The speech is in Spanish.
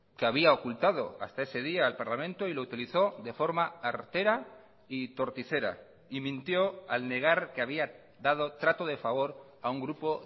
que había ocultado hasta ese día al parlamento y lo utilizó de forma artera y torticera y mintió al negar que había dado trato de favor a un grupo